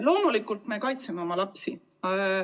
Loomulikult me kaitseme oma lapsi.